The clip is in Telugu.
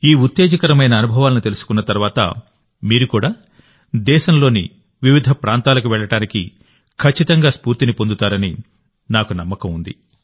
ఈ ఉత్తేజకరమైన అనుభవాలను తెలుసుకున్న తర్వాతమీరు కూడా దేశంలోని వివిధ ప్రాంతాలకు వెళ్లడానికి ఖచ్చితంగా స్ఫూర్తిని పొందుతారని నాకు నమ్మకం ఉంది